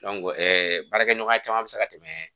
baarakɛɲɔgɔnya caman bɛ se ka tɛmɛ